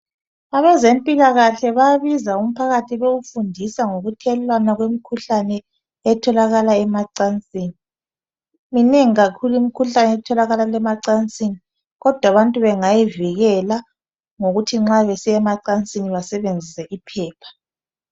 Abezempilakahle bayabiza umphakathi bewufundisa ngokuthelelana kwemikhuhlane etholakala emacansini. Minengi kakhulu imikhuhlane etholakala emacansini kodwa abantu bengayivikela ngokuthi nxa besiya emacansini basebenzise iphepha.